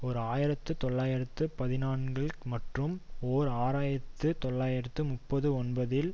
ஓர் ஆயிரத்தி தொள்ளாயிரத்து பதினான்கில் மற்றும் ஓர் ஆயிரத்தி தொள்ளாயிரத்து முப்பத்தி ஒன்பதில்